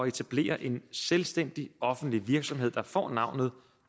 etablere en selvstændig offentlig virksomhed der får navnet